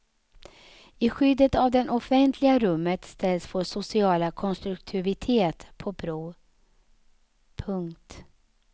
I skyddet av det offentliga rummet ställs vår sociala konstruktivitet på prov. punkt